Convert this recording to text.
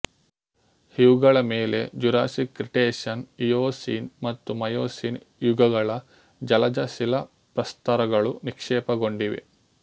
ಇವುಗಳ ಮೇಲೆ Jurassic Cretaceous Eocene ಮತ್ತು ಮಯೊಸೀನ್ ಯುಗಗಳ ಜಲಜ ಶಿಲಾಪ್ರಸ್ತರಗಳು ನಿಕ್ಷೇಪಗೊಂಡಿವೆ